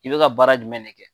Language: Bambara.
I bɛ ka baara jumɛn de kɛ?